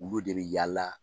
Olu de bɛ yaala.